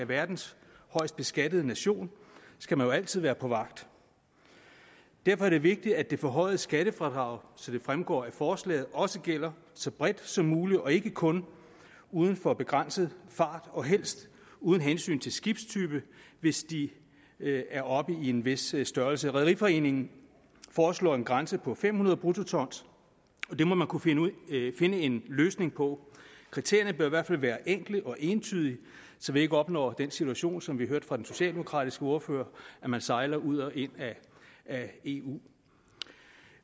verdens højst beskattede nation skal man jo altid være på vagt derfor er det vigtigt at det forhøjede skattefradrag som det fremgår af forslaget også gælder så bredt som muligt og ikke kun uden for begrænset fart og helst uden hensyn til skibstype hvis de er oppe i en vis størrelse rederiforeningen foreslår en grænse på fem hundrede bruttoton og det må man kunne finde en løsning på kriterierne bør i hvert fald være enkle og entydige så vi ikke opnår den situation som vi hørte om fra den socialdemokratiske ordfører at man sejler ud og ind af eu